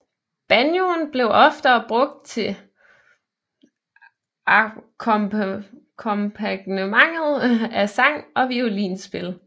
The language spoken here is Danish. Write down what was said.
Banjoen blev ofte brugt til akkompagnement af sang og violinspil